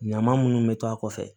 Ɲama munnu bɛ to a kɔfɛ